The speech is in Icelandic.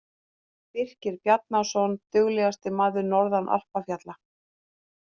Birkir Bjarnason- Duglegasti maður norðan alpafjalla.